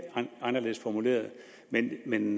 anderledes formuleret men men